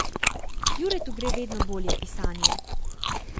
Juretu gre vedno bolje pisanje.